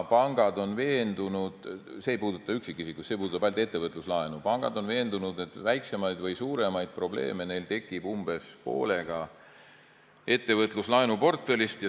Pangad on veendunud – see ei puuduta üksikisikuid, see puudutab ainult ettevõtluslaene –, et väiksemaid või suuremaid probleeme tekib neil umbes poolega ettevõtluslaenuportfellist.